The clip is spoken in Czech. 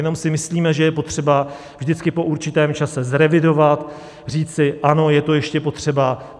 Jenom si myslíme, že je potřeba vždycky po určitém čase zrevidovat, říci ano, je to ještě potřeba.